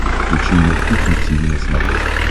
включи мне кухня тиви на смотрешке